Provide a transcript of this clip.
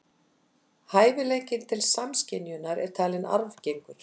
Hæfileikinn til samskynjunar er talinn arfgengur.